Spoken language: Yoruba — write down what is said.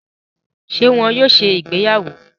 Ṣe wón yóò ṣe ìgbéyàwó?